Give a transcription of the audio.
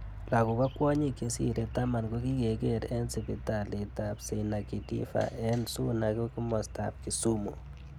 Lakok ak kwonyik. chesirei taman ko kikiker eng sipitalit ab St. Akidiva eng Suna kimosta ab Kisumu.